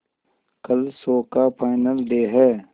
कल शो का final day है